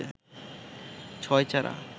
ছয় চারা